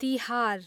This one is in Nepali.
तिहार